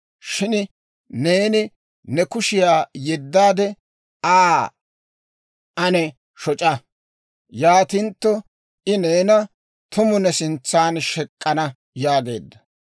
Shin neeni ne kushiyaa yeddaade, Aa ane shoc'a. Yaatintto I neena tumu ne sintsan shek'k'ana» yaageedda.